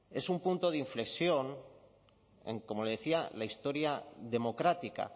es un punto de inflexión en como le decía la historia democrática